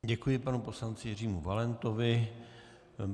Děkuji panu poslanci Jiřímu Valentovi.